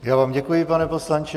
Já vám děkuji, pane poslanče.